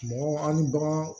Mɔgɔ an ni bagan